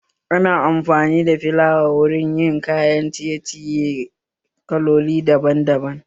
Ana amfani da filawa wurin yin kayan ciye ciye kalloli daban daban